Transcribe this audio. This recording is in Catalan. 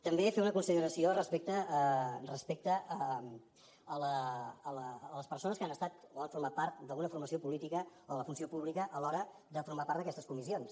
també fer una consideració respecte a les persones que han estat o han format part d’alguna formació política o de la funció pública a l’hora de formar part d’aquestes comissions